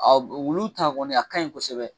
Wulu ta kɔni a kaɲi kosɛbɛ